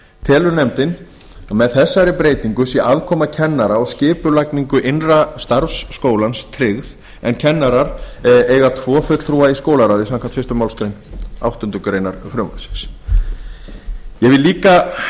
telur nefndin að með þessari breytingu sé aðkoma kennara að skipulagningu innra starfs skólans tryggð en kennarar eiga tvo fulltrúa í skólaráði samkvæmt fyrstu málsgrein áttundu greinar frumvarpsins ég vil líka